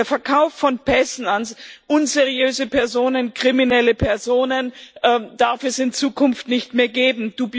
Den Verkauf von Pässen an unseriöse Personen kriminelle Personen darf es in Zukunft nicht mehr geben.